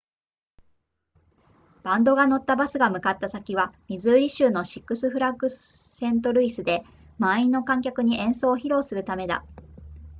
バンドが乗ったバスが向かった先はミズーリ州のシックスフラッグスセントルイスで満員の観客に演奏を披露するためだ